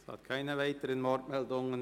Es gibt keine weiteren Wortmeldungen.